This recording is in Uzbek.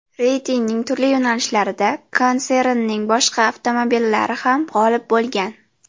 Reytingning turli yo‘nalishlarida konsernning boshqa avtomobillari ham g‘olib bo‘lgan.